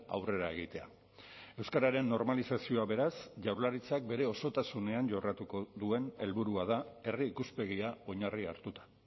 aurrera egitea euskararen normalizazioa beraz jaurlaritzak bere osotasunean jorratuko duen helburua da herri ikuspegia oinarri hartuta